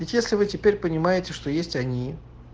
ведь если вы теперь понимаете что есть они